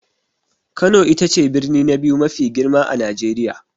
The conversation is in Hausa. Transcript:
Kano ita ce birni na biyu mafi girma a Najeriya.